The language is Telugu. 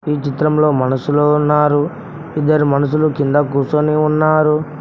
ఈ చిత్రం లో మనుషులు ఉన్నారు ఇద్దరు మనుషులు కింద కూర్చొని ఉన్నారు.